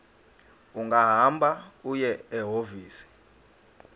ungahamba uye ehhovisi